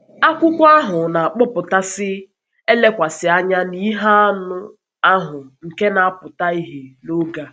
Akwụkwọ ahụ na-akpọpụtasị elekwasị anya na ihe anụ ahụ nke na-apụta ìhè n’oge a.